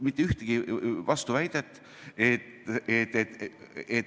Mitte ühtegi vastuväidet.